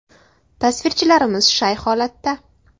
Tasvirchilarimiz shay holatda.